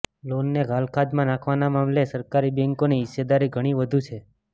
લોનને ઘાલખાદ્યમાં નાખવાના મામલે સરકારી બેંકોની હિસ્સેદારી ઘણી વધુ છે